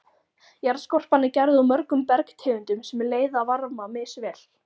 Jarðskorpan er gerð úr mörgum bergtegundum sem leiða varma misvel.